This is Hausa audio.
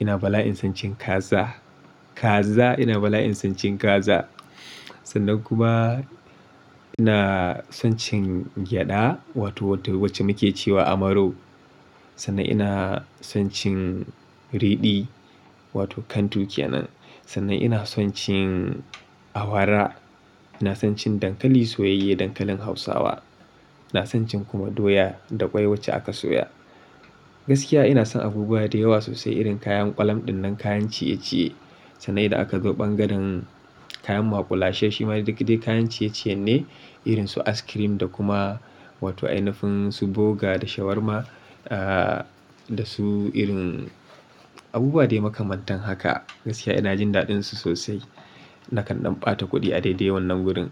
ina bala'in son cin kaza. Kaza ina bala'in son cin kaza. Sannan kuma ina son cin gyada wato wacce muke cewa amaro. Sannan ina son cin riɗi wato kantu kenan. Sannan ina son cin awara. Ina son cin dankali soyayye, dankalin Hausawa. Ina son cin kuma doya da ƙwai wacce aka soya. Gaskiya ina son abubuwa da yawa sosai irin kayan ƙwalam ɗin nan kayan ciye-ciye. Sannan idan aka zo ɓangaren kayan maƙulashe shima duk dai kayan ciye-ciye ne irin su askirim da kuma wato ainafin su boga da shawarma ahhh da su irin abubuwa dai makamantan haka. Gaskiya ina jin daɗinsu sosai. Nakan ɗan ɓata kuɗi a daidai wannan wurin.